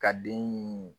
Ka den